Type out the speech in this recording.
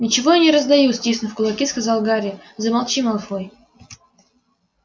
ничего я не раздаю стиснув кулаки сказал гарри замолчи малфой